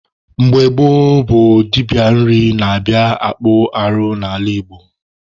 Mgbe gboo bụ dibịa nri na-abịa akpụ arụ n'ala Igbo.